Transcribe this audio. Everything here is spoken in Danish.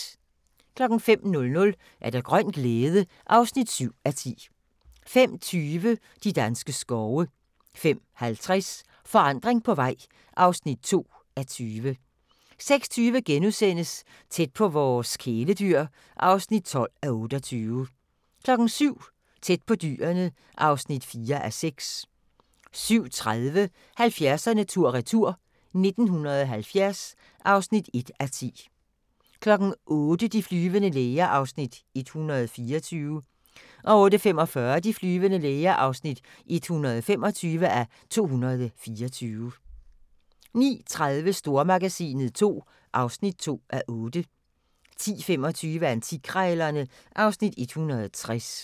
05:00: Grøn glæde (7:10) 05:20: De danske skove 05:50: Forandring på vej (2:20) 06:20: Tæt på vores kæledyr (12:28)* 07:00: Tæt på Dyrene (4:6) 07:30: 70'erne tur-retur: 1970 (1:10) 08:00: De flyvende læger (124:224) 08:45: De flyvende læger (125:224) 09:30: Stormagasinet II (2:8) 10:25: Antikkrejlerne (Afs. 160)